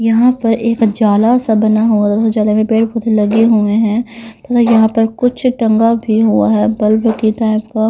यहां पर एक जाला सा बना हुआ जाला में पेड़ पौधे लगे हुए हैं तथा यहां पर कुछ टंगा भी हुआ है बल्ब की टाइप का।